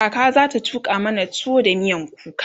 kaka zata tuƙa mana tuwo da miyan kuka